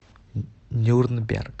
нюрнберг